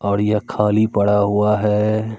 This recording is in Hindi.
और ये खाली पड़ा हुआ है।